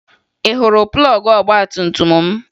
Ị hụrụ plọọgụ ọgbatumtum m?